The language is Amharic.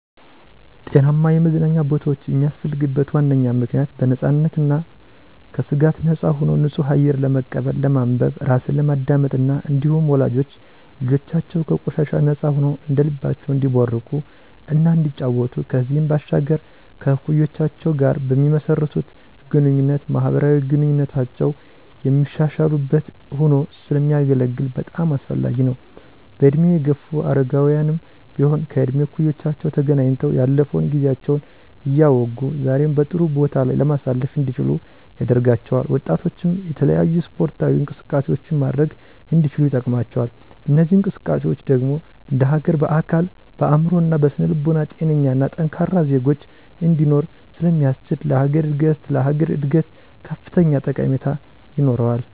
ጤናማ የመዝናኛ ቦታወች የሚያስፈልግበት ዋነኛ ምክንያት .በነፃነትና ከስጋት ነፃ ሆኖ ንፁህ አየር ለመቀበል፣ ለማንበብ፣ ራስን ለማዳመጥ እና እንዲሁም ወላጆች ልጆቻቸው ከቆሻሻ ነፃ ሆነዉ እንደልባቸው እንዲቦርቁ እና እንዲጫወቱ ከዚህም ባሻገር ከእኩዮቻቸው ጋር በሚመሰርቱት ግንኙነት ማህበራዊ ግንኙነታቸውን የሚያሻሽሉበት ሆኖ ስለሚያገለግል በጣም አስፈላጊ ነው። በእድሜ የገፉ አረጋውያንም ቢሆን ከእድሜ እኩዮቻቸው ተገናኝተው ያለፈውን ጊዜያቸውን እያወጉ ዛሬን በጥሩ ቦታ ላይ ማሳለፍ እንዲችሉ ያደርጋቸዋል። ወጣቶችም የተለያዩ ስፖርታዊ እንቅስቃሴዎችን ማድረግ እንዲችሉ ይጠቅማቸዋል። እነዚህ እንቅስቃሴዎች ደግሞ እንደሀገር በአካል፣ በአእምሮ እና በስነ ልቦና ጤነኛና ጠንካራ ዜጎች እንዲኖሮ ስለሚያስችል ለሀገር እድገት ላሀገር እድገት ከፍተኛ ጠቀሜታ ይኖረዋል።